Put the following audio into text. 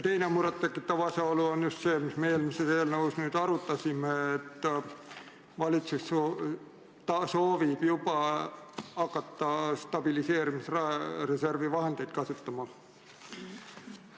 Teine muret tekitav asjaolu on see, mida me eelmise eelnõuga seoses arutasime, et valitsus soovib hakata juba stabiliseerimisreservi vahendeid kasutama.